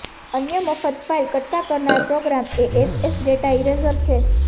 અન્ય મફત ફાઈલ કટકા કરનાર પ્રોગ્રામ એ એસએસ ડેટા ઇરેઝર છે